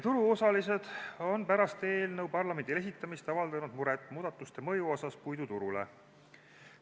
Turuosalised on pärast eelnõu parlamendile esitamist avaldanud muret muudatuste mõju pärast puiduturule.